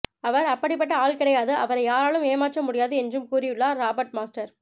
அவர் அப்படிப்பட்ட ஆள் கிடையாது அவரை யாராலும் ஏமாற்ற முடியாது என்றும் கூறியுள்ளார் ராபர்ட் மாஸ்டர்